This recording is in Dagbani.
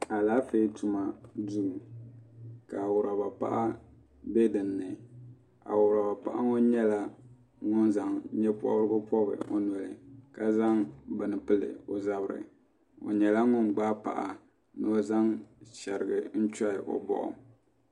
Alaafee tuma duu awuraba paɣa mbɛ dinni awuraba paɣa ŋɔ nyɛla ŋuni zaŋ yee pɔbirigu pɔbi o noli ka zaŋ bini pili o zabiri o nyɛla ŋuni gbaai paɣa ni o zaŋ shiriga n chɔhi o bɔɣu.